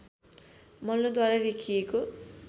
मल्लद्वारा लेखिएको